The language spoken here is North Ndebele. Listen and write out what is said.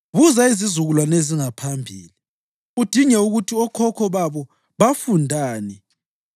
Buza izizukulwane ezingaphambili udinge ukuthi okhokho babo bafundani,